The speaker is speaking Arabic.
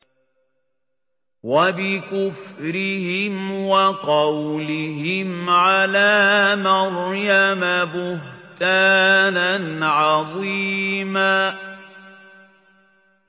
وَبِكُفْرِهِمْ وَقَوْلِهِمْ عَلَىٰ مَرْيَمَ بُهْتَانًا عَظِيمًا